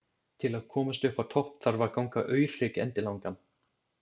Til að komast uppá topp þarf að ganga Aurhrygg endilangan.